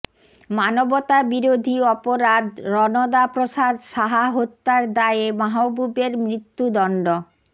মানবতাবিরোধী অপরাধ রণদা প্রসাদ সাহা হত্যার দায়ে মাহবুবের মৃত্যুদন্ড